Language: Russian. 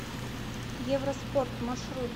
евроспорт маршрут